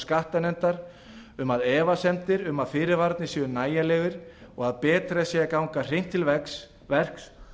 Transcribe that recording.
skattanefndar um að efasemdir um að fyrirvararnir séu nægjanlegir og að betra sé að ganga hreint til verks